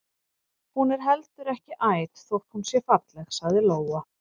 Hún er heldur ekki æt þótt hún sé falleg, sagði Lóa.